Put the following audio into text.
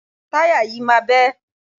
Táyà yìí máa bẹ́.